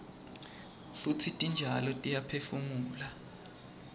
futsi titjalo tiyaphefumula